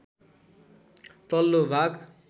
तल्लो भाग